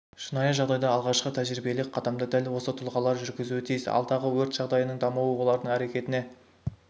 шынайы жағдайда алғашқы тәжірибелік қадамды дәл осы тұлғалар жүргізуі тиіс алдағы өрт жағдайының дамуы олардың әрекетіне